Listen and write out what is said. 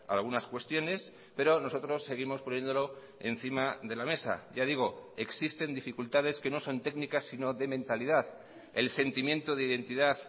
algunas cuestiones pero nosotros seguimos poniéndolo encima de la mesa ya digo existen dificultades que no son técnicas sino de mentalidad el sentimiento de identidad